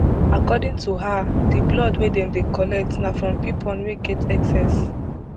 according to her di blood wey dem dey collect na from pipon wey get excess